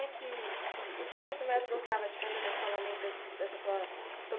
Que que e o que que você mais gostava de fazer na escola, além dessa dessa sua seu